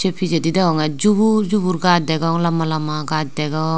sey pijedi degonge jubur jubur gaj degong lamba lamba gaj degong.